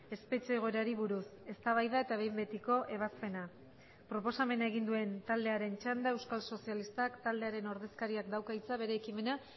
espetxe egoerari buruz eztabaida eta behin betiko ebazpena proposamena egin duen taldearen txanda euskal sozialistak taldearen ordezkariak dauka hitza bere ekimena